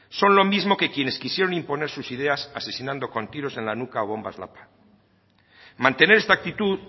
son los mismos que quienes quisieron imponer sus ideas asesinando con tiros en la nuca o bombas lapa mantener esta actitud